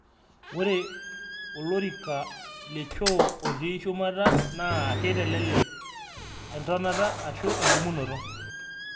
Ore olorika le choo otii shumata naa keitelelek entonata ashu endumunoto.